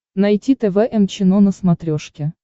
найти тэ вэ эм чено на смотрешке